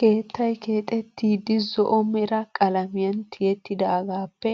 Keettaay keexettidi zo'o mera qalamiyaan tiyettidagappe